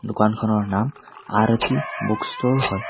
দোকানখনৰ নাম আৰতি বুক ষ্ট'ৰ হয়।